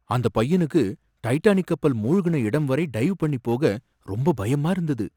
அந்தப் பையனுக்கு டைட்டானிக் கப்பல் மூழ்குன இடம் வரை டைவ் பண்ணி போக ரொம்ப பயமா இருந்தது.